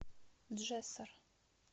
джессор